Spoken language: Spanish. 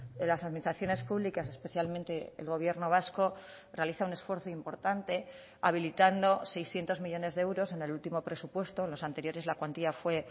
de las administraciones públicas especialmente el gobierno vasco realiza un esfuerzo importante habilitando seiscientos millónes de euros en el último presupuesto los anteriores la cuantía fue